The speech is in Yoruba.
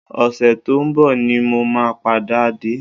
Ọ̀sẹ̀ tó ń bọ̀ ni mo máa padà dé